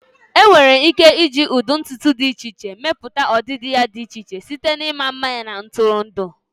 Enwere ike iji ụdị ntutu dị iche iche mepụta ọdịdị dị iche iche, site na ịma mma na ntụrụndụ.